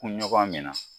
Kun ɲɔgɔn min na